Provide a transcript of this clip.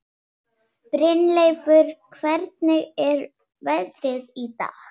Brynleifur, hvernig er veðrið í dag?